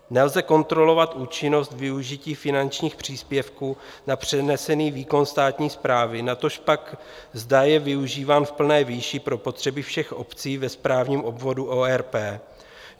Nelze kontrolovat účinnost využití finančních příspěvků na přenesený výkon státní správy, natož pak zda je využíván v plné výši pro potřeby všech obcí ve správním obvodu ORP.